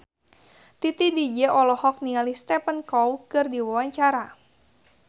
Titi DJ olohok ningali Stephen Chow keur diwawancara